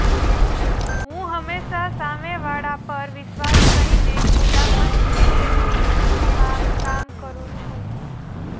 હું હંમેશા સામે વાળા પર વિશ્વાસ કરીને ખુલ્લા મનથી તેમની ફિલ્મમાં કામ કરું છું